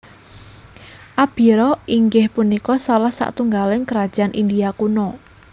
Abhira inggih punika salah satunggaling Krajaan India Kuno